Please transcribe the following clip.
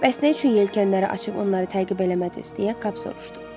Bəs nə üçün yelkənləri açıb onları təqib eləmədiniz, deyə Kap soruşdu.